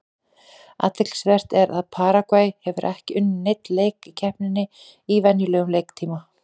Athyglisvert er að Paragvæ hefur ekki unnið neinn leik í keppninni í venjulegum leiktíma.